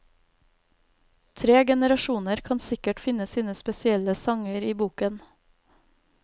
Tre generasjoner kan sikkert finne sine spesielle sanger i boken.